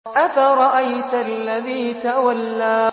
أَفَرَأَيْتَ الَّذِي تَوَلَّىٰ